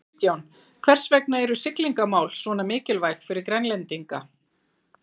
Kristján, hvers vegna eru þessi siglingamál svona mikilvæg fyrir Grænlendinga?